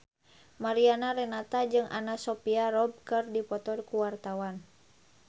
Mariana Renata jeung Anna Sophia Robb keur dipoto ku wartawan